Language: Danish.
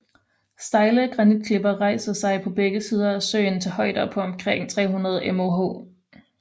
Stejle granitklipper rejser sig på begge sider af søen til højder på omkring 300 moh